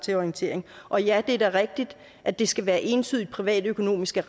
til orientering og ja det er da rigtigt at det skal være entydige privatøkonomiske